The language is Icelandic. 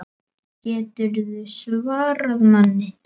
GETURÐU SVARAÐ MANNI!